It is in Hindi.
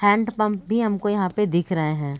हैण्ड पंप भी हमको यहाँ पे दिख रहे है।